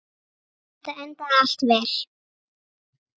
Jæja, þetta endaði allt vel.